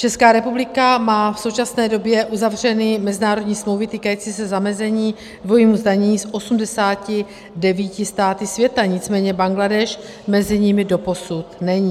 Česká republika má v současné době uzavřeny mezinárodní smlouvy týkající se zamezení dvojímu zdanění s 89 státy světa, nicméně Bangladéš mezi nimi doposud není.